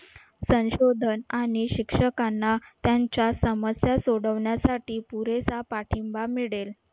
संशोधन आणि शिक्षकांना त्यांच्या समस्या सोडवण्यासाठी पुरेसा पाठिंबा मिळेल.